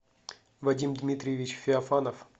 вадим дмитриевич феофанов